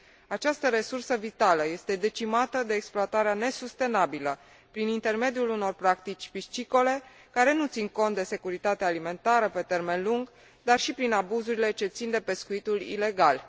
Această resursă vitală este decimată de exploatarea nesustenabilă prin practici piscicole care nu țin cont de securitatea alimentară pe termen lung, dar și prin abuzurile ce țin de pescuitul ilegal.